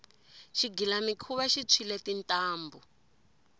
xigilamikhuva xi tshwile tintambhu